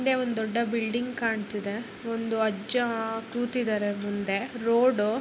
ಹಿಂದೆ ಒಂದ್ ದೊಡ್ಡ ಬಿಲ್ಡಿಂಗ್ ಕಾಣ್ತಿದೆ ಒಂದು ಅಜ್ಜಾ ಕೂತಿದಾರೆ ಮುಂದೆ ರೋಡು --